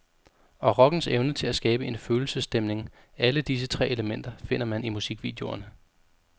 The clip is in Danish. Og rockens evne til at skabe en følelsesstemning, alle disse tre elementer finder man i musikvideoerne.